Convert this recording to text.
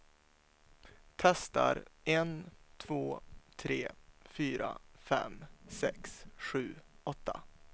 Testar en två tre fyra fem sex sju åtta.